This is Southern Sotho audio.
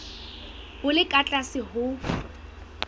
bo le ka tlase ho